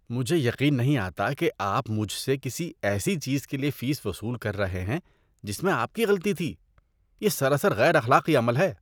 مجھے یقین نہیں آتا کہ آپ مجھ سے کسی ایسی چیز کے لیے فیس وصول کر رہے ہیں جس میں آپ کی غلطی تھی۔ یہ سراسر غیر اخلاقی عمل ہے۔